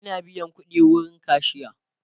Ina biyan ƙudi wurin kashiya